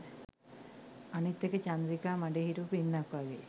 අනිත් එක චන්ද්‍රිකා මඩේ හිටවපු ඉන්නක් වගේ